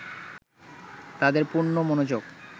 তাদের পূর্ণ মনোযোগ